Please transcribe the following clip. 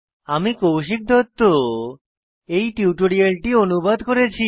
আমি কৌশিক দত্ত এই টিউটোরিয়ালটি অনুবাদ করেছি